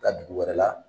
Ka dugu wɛrɛ la